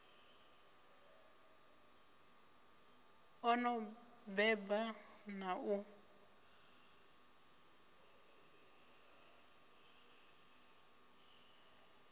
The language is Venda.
o no beba na u